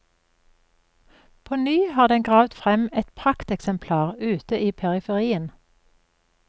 På ny har den gravd frem et prakteksemplar ute i periferien.